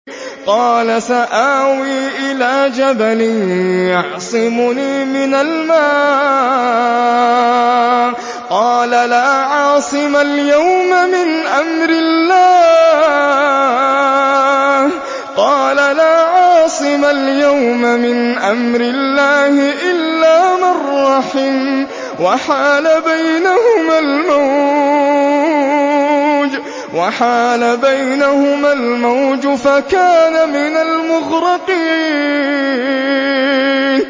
قَالَ سَآوِي إِلَىٰ جَبَلٍ يَعْصِمُنِي مِنَ الْمَاءِ ۚ قَالَ لَا عَاصِمَ الْيَوْمَ مِنْ أَمْرِ اللَّهِ إِلَّا مَن رَّحِمَ ۚ وَحَالَ بَيْنَهُمَا الْمَوْجُ فَكَانَ مِنَ الْمُغْرَقِينَ